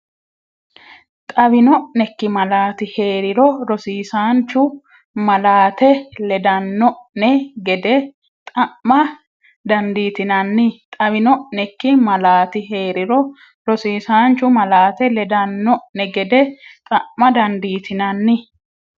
Xawino’neikki malaati hee’riro rosiisaanchu malaate ledan- no’ne gede xa’ma dandiitinanni Xawino’neikki malaati hee’riro rosiisaanchu malaate ledan- no’ne gede xa’ma dandiitinanni.